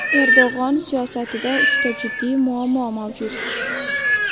Erdo‘g‘on siyosatida uchta jiddiy muammo mavjud.